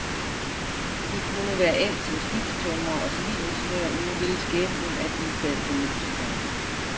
De kunne være endt som skibstømrer og civilingeniør, men nu ville skæbnen, at de i stedet blev musikere.